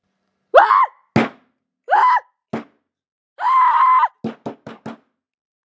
Hann var voðalega hátíðlegur þegar ég kynnti mig.